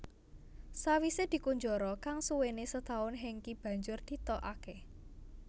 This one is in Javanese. Sawisé dikunjara kang suwené setaun Hengky banjur ditokake